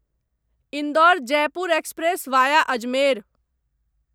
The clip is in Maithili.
Indore Jaipur express via Ajmer